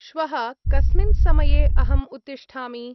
श्वः कस्मिन् समये अहम् उत्तिष्ठामि?